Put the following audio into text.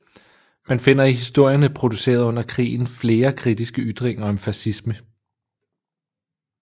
Man finder i historierne produceret under krigen flere kritiske ytringer om fascisme